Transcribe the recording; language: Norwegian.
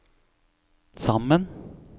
sammen